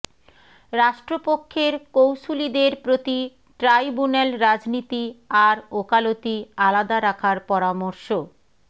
রাষ্ট্রপক্ষের কৌঁসুলিদের প্রতি ট্রাইব্যুনাল রাজনীতি আর ওকালতি আলাদা রাখার পরামর্শ